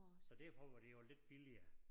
Så derfor var det jo lidt billigere